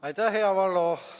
Aitäh, hea Valdo!